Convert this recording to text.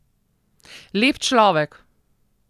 Lep človek.